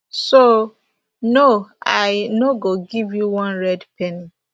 so no i no go give you one red penny